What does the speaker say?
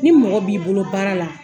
Ni mɔgɔ b'i bolo baara la